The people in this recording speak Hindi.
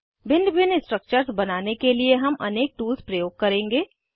भिन्न भिन्न स्ट्रक्चर्स बनाने के लिए हम अनेक टूल्स प्रयोग करेंगे